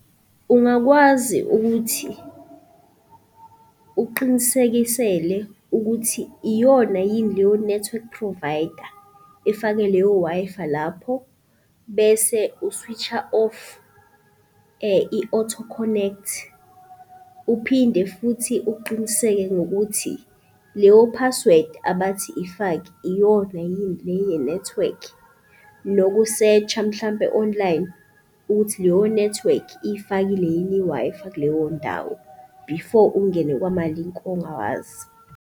Ungakwazi ukuthi, uqinisekisele ukuthi iyona yini leyo network provider efake leyo Wi-Fi lapho bese u-switch-a off i-auto connect. Uphinde futhi uqiniseke ngokuthi leyo password abathi ifake iyona yini le yenethiwekhi noku-search-a mhlampe online ukuthi leyo nethiwekhi iy'fakile yini i-Wi-Fi kuleyo ndawo before ungene kwamalinki ongawazi.